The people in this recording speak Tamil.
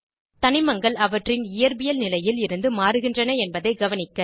தனிமங்கள் அவற்றின் இயற்பியல் நிலையில் இருந்து மாறுகின்றன என்பதை கவனிக்க